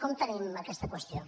com tenim aquesta qüestió